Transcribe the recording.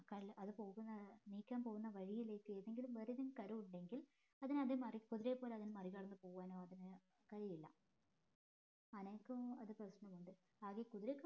കൽ അത് പോകുന്ന നീക്കാൻ പോകുന്ന വഴിയിലേക്ക് ഏതെങ്കിലും വേറെതെലും കരു ഉണ്ടെങ്കിൽ അതിനെ അത് മറി പൊതുവേപോലെ അതിനെ മറികടന്ന് പോവാനോ അതിന് കഴിയില്ല ആനക്ക് അത് പ്രശനമുണ്ട് അത് കുതിരക്ക്